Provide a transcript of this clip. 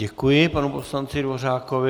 Děkuji panu poslanci Dvořákovi.